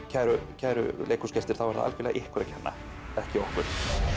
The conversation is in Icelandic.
kæru kæru leikhúsgestir þá er það algjörlega ykkur að kenna ekki okkur